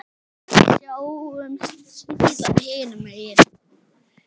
Við sjáumst síðar hinum megin.